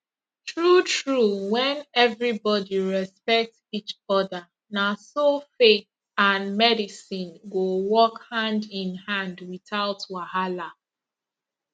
true true when everybody respect each other na so faith and medicine go work handinhand without wahala